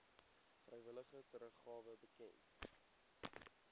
vrywillige teruggawe bekend